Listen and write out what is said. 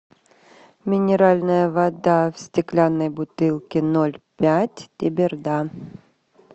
минеральная вода в стеклянной бутылке ноль пять теберда